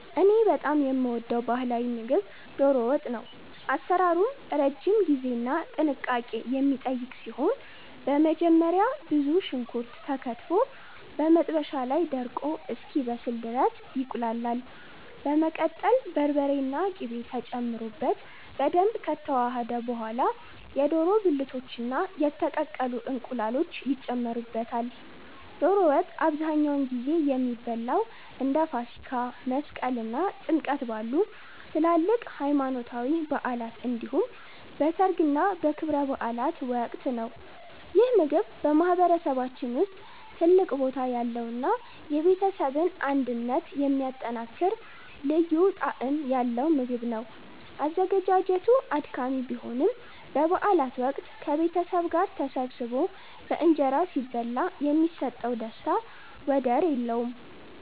እኔ በጣም የምወደው ባህላዊ ምግብ 'ዶሮ ወጥ' ነው። አሰራሩም ረጅም ጊዜና ጥንቃቄ የሚጠይቅ ሲሆን፣ በመጀመሪያ ብዙ ሽንኩርት ተከትፎ በመጥበሻ ላይ ደርቆ እስኪበስል ድረስ ይቁላላል። በመቀጠል በርበሬና ቅቤ ተጨምሮበት በደንብ ከተዋሃደ በኋላ፣ የዶሮ ብልቶችና የተቀቀሉ እንቁላሎች ይጨመሩበታል። ዶሮ ወጥ አብዛኛውን ጊዜ የሚበላው እንደ ፋሲካ፣ መስቀል እና ጥምቀት ባሉ ትላልቅ ሃይማኖታዊ በዓላት እንዲሁም በሠርግና በክብረ በዓላት ወቅት ነው። ይህ ምግብ በማህበረሰባችን ውስጥ ትልቅ ቦታ ያለውና የቤተሰብን አንድነት የሚያጠናክር ልዩ ጣዕም ያለው ምግብ ነው። አዘገጃጀቱ አድካሚ ቢሆንም፣ በበዓላት ወቅት ከቤተሰብ ጋር ተሰባስቦ በእንጀራ ሲበላ የሚሰጠው ደስታ ወደር የለውም።